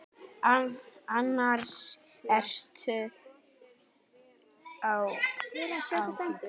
Annars ertu ágætur.